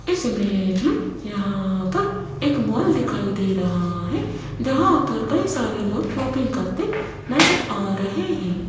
इस इमेज में यहां पर एक मॉल दिखाई दे रहा है जहां पर कई सारे लोग शॉपिंग करते नजर आ रहे हैं।